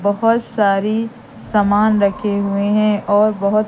बहोत सारी सामान रखे हुए हैं और बहोत--